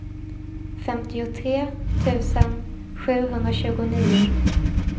femtiotre tusen sjuhundratjugonio